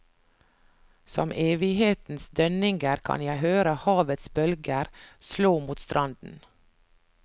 Som evighetens dønninger kan jeg høre havets bølger slå mot stranden.